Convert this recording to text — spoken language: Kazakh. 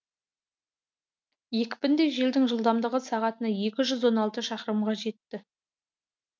екпінді желдің жылдамдығы сағатына екі жүз он алты шақырымға жетті